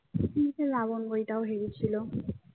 জিৎ এর রাবণ বইটাও হেভি ছিল।